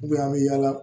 an bɛ yaala